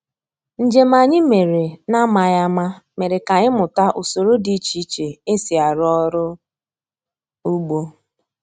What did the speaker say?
Njem anyị mere na-amaghị ama mere ka anyị mụta usoro dị iche iche e si arụ ọrụ ugbo